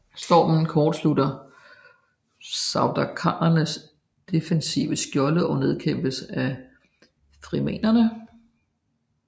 Stormen kortslutter Sardaukarernes defensive skjolde og nedkæmpes af frimenerne